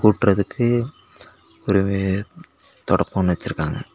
கூட்றதுக்கு பிறவு தொடப்போ ஒன்னு வெச்சுருக்காங்க.